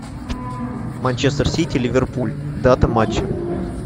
манчестер сити ливерпуль дата матча